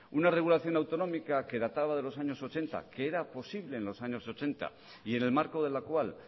una regulación autonómica que la tabla de los años ochenta que era posible en los años ochenta y en el marco de la cual